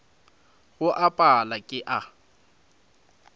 go a pala ke a